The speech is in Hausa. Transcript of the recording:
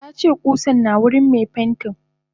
Tace kusan na wurin me pentin.